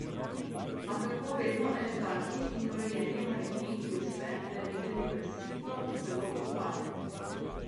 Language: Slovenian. A kako vedno elegantni in urejeni manekenki uspe, da je videti brezhibno celo ko pade?